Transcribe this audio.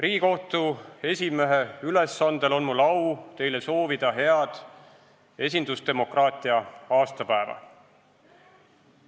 Riigikohtu esimehe ülesandel on mul au teile soovida head esindusdemokraatia aastapäeva.